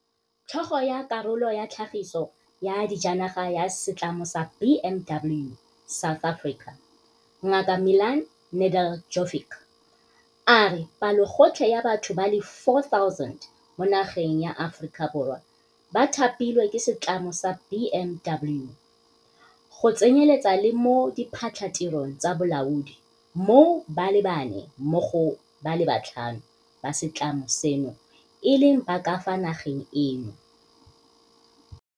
Tlhogo ya Karolo ya Tlhagiso ya Dijanaga ya Setlamo sa BMW South Africa, Ngaka Milan Nedeljkovic, a re palogotlhe ya batho ba le 4 000 mo nageng ya Aforika Borwa ba thapilwe ke setlamo sa BMW, go tsenyeletsa le mo diphatlhatirong tsa bolaodi moo ba le bane mo go ba le batlhano ba setlamo seno e leng ba ka fa nageng eno.